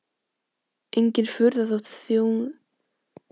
Engin furða þótt þjóðin sé hnípin og í vanda.